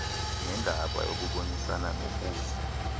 nendaba yokubonisana nokusa